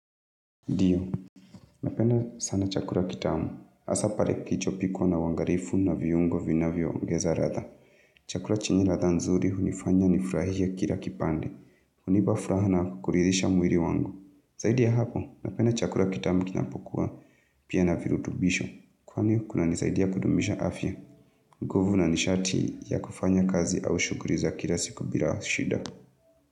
Ndio, napenda sana chakula kitamu. Hasaa pale kilichopikwa na uangalivu na viungo vinavyoongeza ladha. Chakula chenye latha nzuri hunifanya nifurahie kila kipande. Hunipa furaha na kuridhisha mwili wangu. Zaidi ya hapo, napenda chakula kitamu kinapokua pia na virutubisho. Kwani, kunanisaidia kudumisha afya. Kovu na nishati ya kufanya kazi au shughuli za kila siku bila shida.